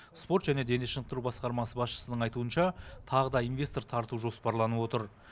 спорт және дене шынықтыру басқармасы басшысының айтуынша тағы да инвестор тарту жоспарланып отыр